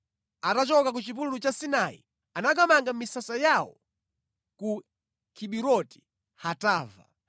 Atachoka ku chipululu cha Sinai anakamanga misasa yawo ku Kiburoti-Hataava.